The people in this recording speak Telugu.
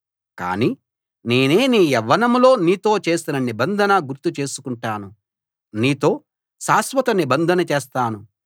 కానీ నేనే నీ యవ్వనంలో నీతో చేసిన నిబంధన గుర్తు చేసుకుంటాను నీతో శాశ్వత నిబంధన చేస్తాను